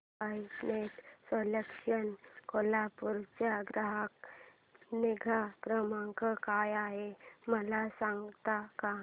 I net solutions Kolhapur चा ग्राहक निगा क्रमांक काय आहे मला सांगता का